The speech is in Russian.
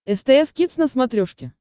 стс кидс на смотрешке